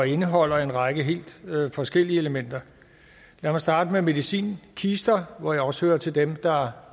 indeholder en række helt forskellige elementer lad mig starte med medicinkister hvor jeg også hører til dem der